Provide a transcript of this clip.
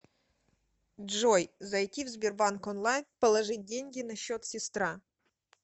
джой зайти в сбербанк онлайн положить деньги на счет сестра